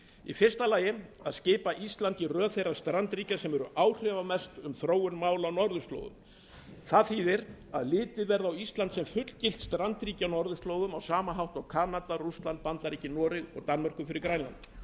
í fyrsta lagi að skipa íslandi í röð þeirra strandríkja sem eru áhrifamest um þróun mála á norðurslóðum það þýðir að litið verði á ísland sem fullgilt strandríki á norðurslóðum á sama hátt og kanada rússland bandaríkin noreg og danmörku fyrir hönd grænlands